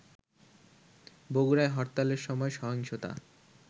বগুড়ায় হরতালের সময় সহিংসতা